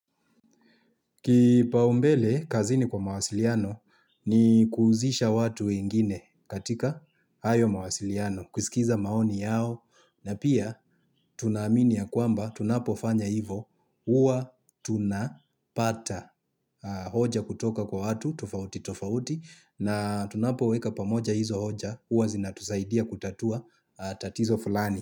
Kipaumbele kazini kwa mawasiliano ni kuhusisha watu wengine katika hayo mawasiliano kusikiza maoni yao na pia tunaaminia kwamba tunapofanya hivo huwa tunapata hoja kutoka kwa watu tofauti tofauti na tunapoweka pamoja hizo hoja huwa zinatusaidia kutatua tatizo fulani.